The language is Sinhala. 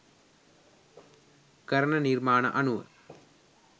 කරන නිර්මාණ අනුව.